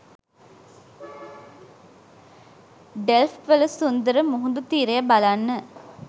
Delft වල සුන්දර මුහුදු තීරය බලන්න.